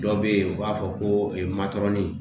Dɔw bɛ yen u b'a fɔ ko matɔrɔni